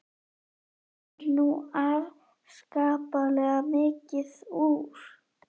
Hann er nú afskaplega mikið úr